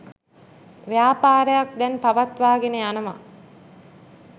ව්‍යාපාරයක් දැන් පවත්වාගෙන යනවා.